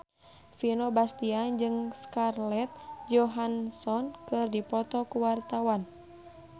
Vino Bastian jeung Scarlett Johansson keur dipoto ku wartawan